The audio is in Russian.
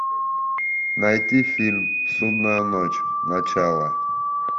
найти фильм судная ночь начало